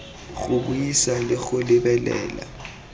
go buisa le go lebelela